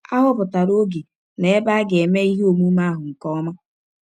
A họpụtara ọge na ebe a ga - eme ihe ọmụme ahụ nke ọma.